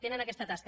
tenen aquesta tasca